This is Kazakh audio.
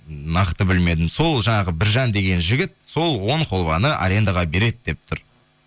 нақты білмедім сол жаңағы біржан деген жігіт сол он холваны арендаға береді деп тұр